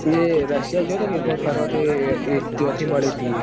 યે રશિયા જેતો એવખ્ત ફરવા તે ત્યો થી મળી તી એ